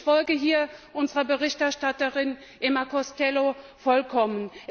Ich folge hier unserer Berichterstatterin Emer Costello vollkommen.